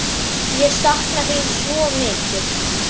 Ég sakna þín svo mikið.